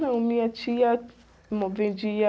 Não, minha tia mo vendia...